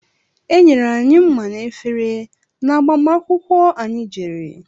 Enyere anyị mma na efere n'agbamakwukwó anyị jere.